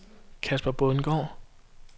Casper Bundgaard